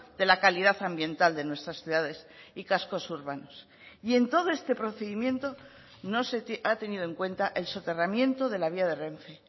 de la calidad ambiental de nuestras ciudades y cascos urbanos y en todo este procedimiento no se ha tenido en cuenta el soterramiento de la vía de renfe